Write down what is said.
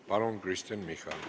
Palun, Kristen Michal!